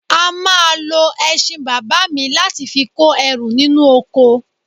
A máa lo ẹṣin bàbá mi láti fi kó ẹrù nínú oko